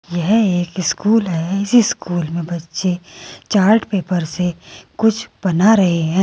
यह एक स्कूल है इसी स्कूल में बच्चे चार्ट पेपर से कुछ बना रहे हैं।